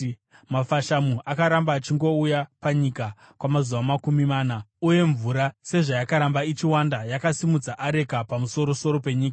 Mafashamu akaramba achingouya panyika kwamazuva makumi mana, uye mvura sezvayakaramba ichiwanda yakasimudza areka pamusoro-soro penyika.